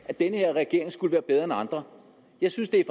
at den her regering skulle være bedre end andre jeg synes det er